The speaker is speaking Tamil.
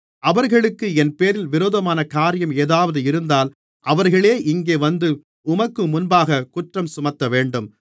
அவர்களுக்கு என்பேரில் விரோதமான காரியம் ஏதாவது இருந்தால் அவர்களே இங்கே வந்து உமக்கு முன்பாகக் குற்றஞ்சுமத்தவேண்டும்